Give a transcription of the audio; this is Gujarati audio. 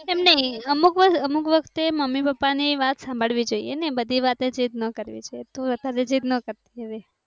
અમુક વખતે મમ્મી પપ્પા ને વાત સાંભળવી જોઇએ ને બધી વાતચીત ન કરવી જોઇએ તો વધારે જીદનો કર તે.